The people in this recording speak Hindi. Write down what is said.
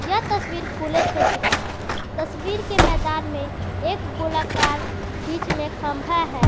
यह तस्वीर खुले क्षेत्र का है तस्वीर के मैदान में एक गोलाकार बीच में खंभा है।